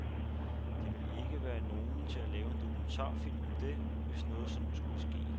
Der ville ikke være nogen til at lave en dokumentarfilm om det, hvis noget sådant skulle ske.